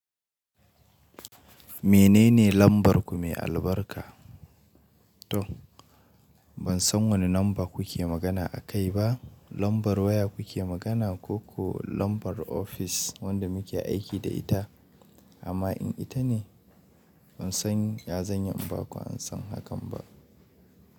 Menene lambar ku mai albarka? To ban san wane lamba kuke magana akai ba, lambar waya kuke magana ko ko lambar ofis wadda muke aiki da ita? Amma in ita ne ban san yazanyi inba ku an san hakan ba.